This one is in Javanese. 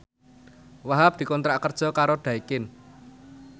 Wahhab dikontrak kerja karo Daikin